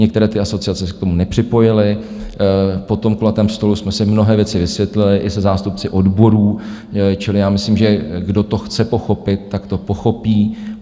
Některé ty asociace se k tomu nepřipojily, po tom kulatém stolu jsme si mnohé věci vysvětlili i se zástupci odborů, čili já myslím, že kdo to chce pochopit, tak to pochopí.